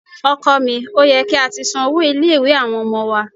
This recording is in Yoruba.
Ọkọ mi, ó yẹ kí a ti san owó ilé-ìwé àwọn ọmọ wa.